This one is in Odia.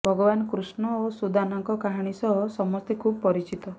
ଭଗବାନ କୃଷ୍ଣ ଓ ସୁଦାନଙ୍କ କାହାଣୀ ସହ ସମସ୍ତେ ଖୁବ୍ ପରିଚିତ